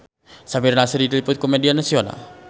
Samir Nasri diliput ku media nasional